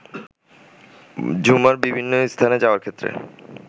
ঝুমার বিভিন্ন স্থানে যাওয়ার ক্ষেত্রে